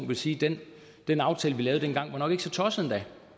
vil sige den den aftale vi lavede dengang var nok ikke så tosset endda